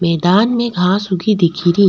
मैदान में घास उगी दिखरी।